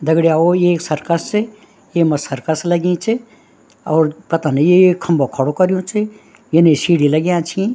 दगडीयाओं यी एक सर्कस च येमा सर्कस लगीं च और पतनी यु एक खम्बो खडू कर्युं च यनी शीडी लग्याँ छी।